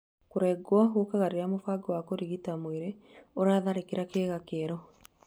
Kũrego gũkaga rĩria mũbango wa kũgitĩra mwĩrĩ ũtharĩkagĩra kĩga kĩerũ.